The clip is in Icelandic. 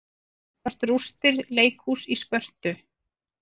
Hér sjást rústir leikhúss í Spörtu.